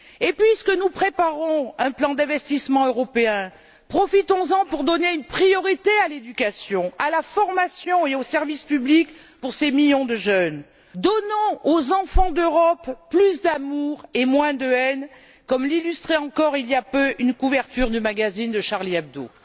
Puisque nous préparons un plan d'investissement européen, profitons en pour donner une priorité à l'éducation, à la formation et au service public pour ces millions de jeunes, donnons aux enfants d'Europe plus d'amour et moins de haine comme l'illustrait encore, il y a peu, une couverture du magazine de Charlie Hebdo.